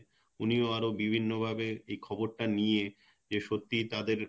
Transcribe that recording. উনিও আরও বিভিন্ন ভাবে এই খবর টা নিয়ে যে সত্যিই তাদের